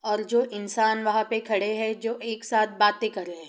औल जो इंसान वहाँ पे खड़े हैं जो एकसाथ बातें कर रहे हैं।